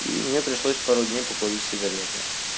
и мне пришлось пару дней покурить сигареты